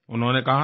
उन्होंने कहा था